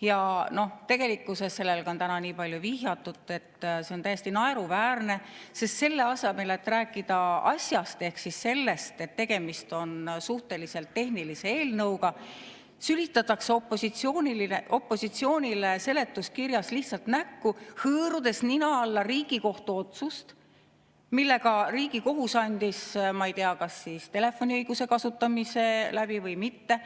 Ja tegelikkuses – sellele on täna palju vihjatud – see on täiesti naeruväärne, sest selle asemel, et rääkida asjast ehk sellest, et tegemist on suhteliselt tehnilise eelnõuga, sülitatakse opositsioonile seletuskirjas lihtsalt näkku, hõõrudes nina alla Riigikohtu otsust, millega Riigikohus andis, ma ei tea, kas telefoniõiguse kasutamise läbi või mitte,